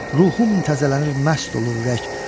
Ruhum təzələnir, məst olur ürək.